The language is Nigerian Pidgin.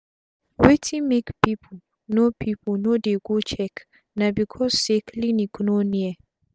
wetin make pipu no pipu no dey go check na becos say clinic no near